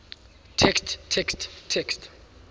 text text text